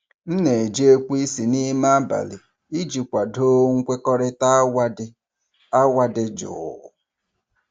M na-eji ekweisi n'ime abalị iji kwado nkwekọrịta awa dị awa dị jụụ.